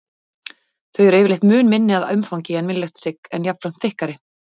Þau eru yfirleitt mun minni að umfangi en venjulegt sigg en jafnframt þykkari.